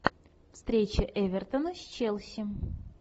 встреча эвертона с челси